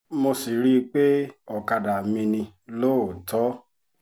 mo sì rí i pé ọ̀kadà mi ni lóòótọ́